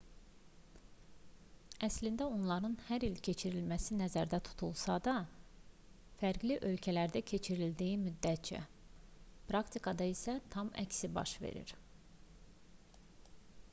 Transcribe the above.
əslində onların hər il keçirilməsi nəzərdə tutulsa da fərqli ölkələrdə keçirildiyi müddətcə praktikada isə tam əksi baş verir